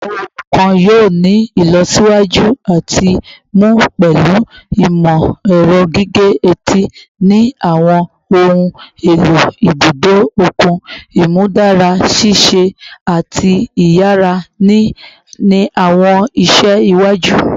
Awọn ohun kan yoo ni ilọsiwaju ati mu pẹlu imọ-ẹrọ gige-eti ni awọn ohun elo ibudo okun, imudara ṣiṣe ati iyara ni awọn iṣẹ iwaju